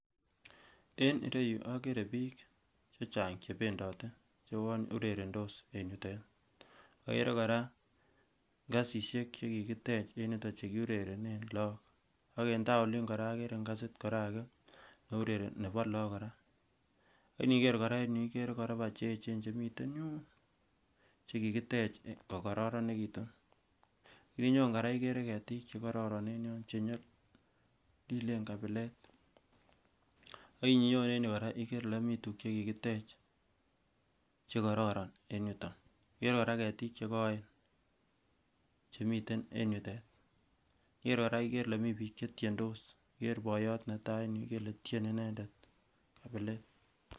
En ireyuu okere bik che chang chebendote cheuwon urerenotos en yutet okere koraa ngasishek chekikitech en yutok chekiurerenen lok ak en taa olin koraa okere ingazi koraa age neurereni nebo lok koraa ak iniker koraa en yuu ikere koropa che yechen en yuun chekikitech kokororonekitun ak ininyon koraa ikere keti chekororon chenyolilen kabilet ak ininyon en yuu koraa ikere ile mi tukuk chekikitech chekororon en yuton, ikere koraa ketik chekoen chemiten en yutet, ikere koraa ile miten bik chetyendos, ker boiyot netai en yuu ikere ile tyeni inendet kabilet.